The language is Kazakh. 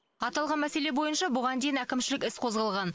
аталған мәселе бойынша бұған дейін әкімшілік іс қозғалған